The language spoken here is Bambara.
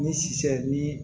Ni sisan ni